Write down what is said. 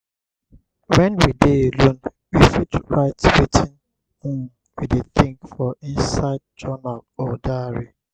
when we dey alone we fit write wetin um we dey think for inside journal or diary